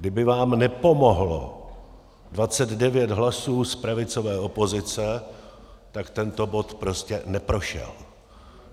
Kdyby vám nepomohlo 29 hlasů z pravicové opozice, tak tento bod prostě neprošel.